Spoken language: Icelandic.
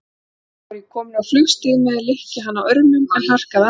Þá var ég kominn á flugstig með að lykja hana örmum, en harkaði af mér.